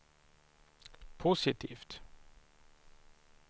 positivt